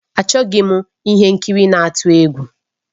Achọghị m ihe nkiri na-atụ egwu